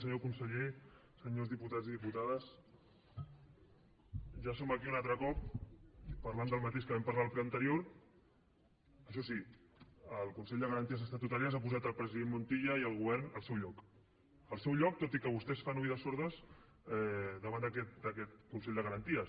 senyor conseller senyors diputats i diputades ja som aquí un altre cop parlant del mateix que vam parlar el ple anterior això sí el consell de garanties estatutàries ha posat el president montilla i el govern al seu lloc al seu lloc tot i que vostès fan el sord davant d’aquest consell de garanties